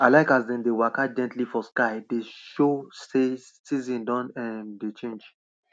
i like as dem dey waka gently for sky dey show sey season don um dey change